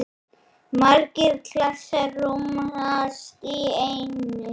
Margir klasar rúmast í einni.